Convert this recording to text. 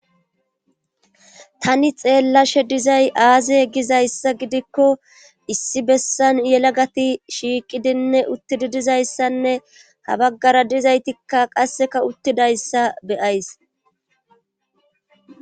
tani xeellashe dizay aaziye gizayssa gidikko issi bessan yela gati shiiqidinne uttidi dizayssanne ha baggara dizaytikka qasseka uttidayssa beyays